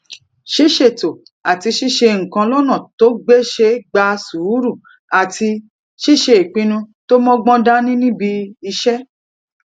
ṣíṣètò àti ṣíṣe nǹkan lónà tó gbéṣé gba sùúrù àti ṣíṣe ìpinnu tó mógbón dání níbi iṣé